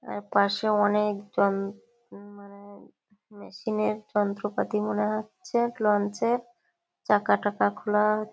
তারপাশে অনেক জন মানে মেশিন -এর যন্ত্রপাতি মনে হচ্ছে লঞ্চ -এর চাকা-টাকা খোলা--